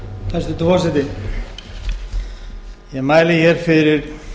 hæstvirtur forseti ég mæli hér fyrir